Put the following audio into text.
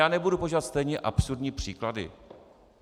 Já nebudu používat stejně absurdní příklady.